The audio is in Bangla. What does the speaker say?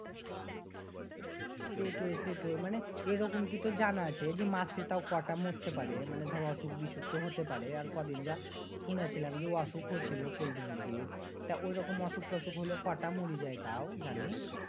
সেইটো সেইটো। মানি এই রকম কি তুর জানা আছে যে মরছে মানি মাসে কয়টা মরতে পাড়ে? মানি দর অসুখ বিসুখ তো হতে পাড়ে আর কদিন যা শুনেছিলাম যে অসুখ ও ছিল পল্টি মুরগীর। তা ঐরকম অসুখ টসুখ হলে মরি যায় তাও জানি।